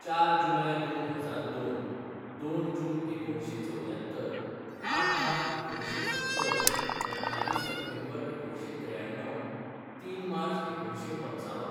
चार जुलाय दोन हजार दोन, दोन जून एकुणशें चवद्यात्तर, आठ मार्च एकुणंशे सत्तर, अठ्ठावीस सेप्टेंबर एकुणशें त्रेयाणव, तीन मार्च एकुणशें पंचावन.